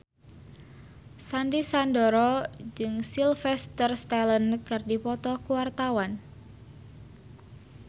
Sandy Sandoro jeung Sylvester Stallone keur dipoto ku wartawan